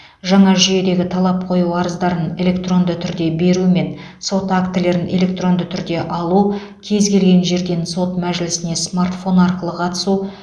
жаңа жүйедегі талап қою арыздарын электронды түрде беру мен сот актілерін электронды түрде алу кез келген жерден сот мәжілісіне смартфон арқылы қатысу